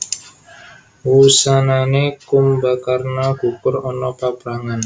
Wusanané Kumbakarna gugur ana paprangan